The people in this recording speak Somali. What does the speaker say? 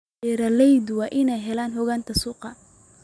Beeraleydu waa inay helaan xogta suuqa.